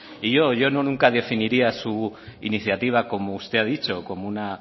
y yo yo nunca definiría su iniciativa como usted ha dicho como una